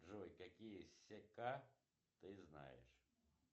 джой какие сека ты знаешь